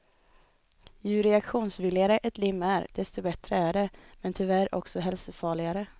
Ju reaktionsvilligare ett lim är, desto bättre är det, men tyvärr också hälsofarligare.